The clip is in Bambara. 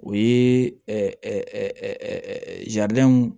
O ye